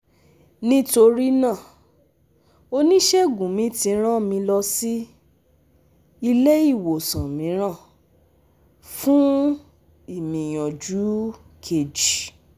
Nítorí náà, onísègùn mi tí rán mi lọ si ile-iwosan míràn fún ìmìyànjú keji